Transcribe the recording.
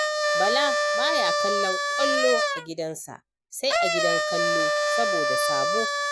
Bala baya kallon ƙwallo a gidansa, sai a gidan kallo saboda sabo.